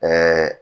Ɛɛ